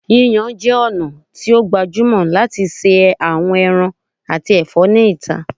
Yiyan jẹ ọna ti o gbajumọ lati ṣe awọn ẹran ati ẹfọ ni ita